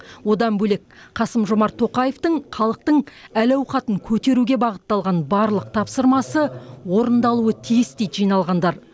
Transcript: одан бөлек қасым жомарт тоқаевтың халықтың әл ауқатын көтеруге бағытталған барлық тапсырмасы орындалуы тиіс дейді жиналғандар